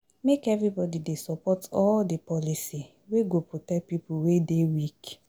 Make everybodi dey support all di policy wey go protect pipo wey dey weak.